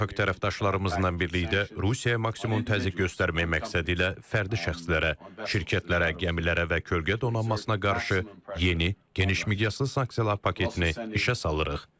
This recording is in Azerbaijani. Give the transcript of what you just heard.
Beynəlxalq tərəfdaşlarımızla birlikdə Rusiyaya maksimum təzyiq göstərmək məqsədilə fərdi şəxslərə, şirkətlərə, gəmilərə və kölgə donanmasına qarşı yeni, geniş miqyaslı sanksiyalar paketini işə salırıq.